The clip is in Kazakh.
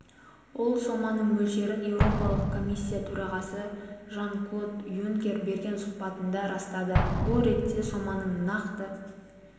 ол соманың мөлшерін еуропалық комиссия төрағасы жан-клод юнкер берген сұхбатында растады бұл ретте соманың нақты